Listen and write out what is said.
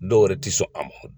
Dɔw yɛrɛ ti sɔn a ma.